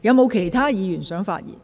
是否有其他議員想發言？